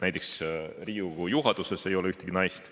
Näiteks Riigikogu juhatuses ei ole ühtegi naist.